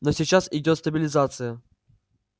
но сейчас идёт стабилизация